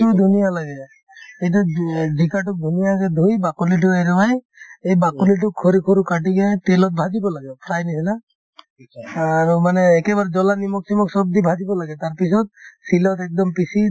ধুনীয়া লাগে এতিয়া জি জিকাতো ধুনীয়াকে ধুই বাকলিতো এৰুৱাই এই বাকলিতো সৰু সৰু কাটি কিনে তেলত ভাজিব লাগে fry ৰ নিচিনা আৰু মানে একেবাৰে জ্বলা নিমখ-চিমখ চব দি ভাজিব লাগে তাৰ পিছত শিলত একদম পিচি